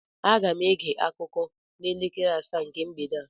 Aga m ege akụkọ n'elekere asaa nke mgbede a